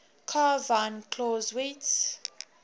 carl von clausewitz